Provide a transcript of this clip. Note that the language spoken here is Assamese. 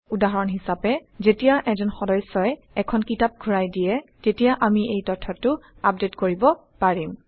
উদাহৰণ হিচাপে যেতিয়া এজন সদস্যই এখন কিতাপ ঘূৰাই দিয়ে তেতিয়া আমি এই তথ্যটো আপডেট কৰিব পাৰিম